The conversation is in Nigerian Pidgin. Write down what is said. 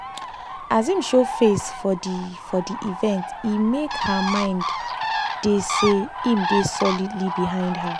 as im show face for the for the evente make her mind dey say im dey solidly behind her